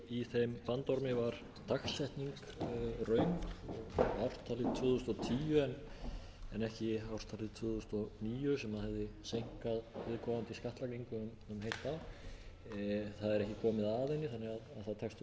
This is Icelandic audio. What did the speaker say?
í þeim bandormi var dagsetning röng ártalið tvö þúsund og tíu en ekki ártalið tvö þúsund og níu sem hefði seinkað viðkomandi skattlagningu um heilt ár það er ekki komið að henni þannig að það tekst þó að leiðrétta það